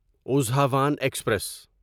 اضحوان express